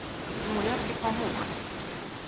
nngwe ya re ke phamoge